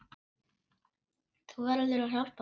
Þú verður að hjálpa mér.